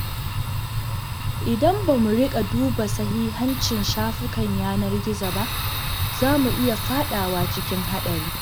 Idan ba mu rika duba sahihancin shafukan yanar gizo ba, za mu iya fadawa cikin haɗari.